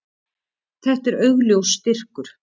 Þetta er augljós styrkur.